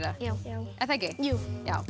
er það ekki jú